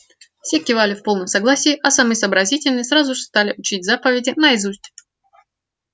все кивали в полном согласии а самые сообразительные сразу же стали учить заповеди наизусть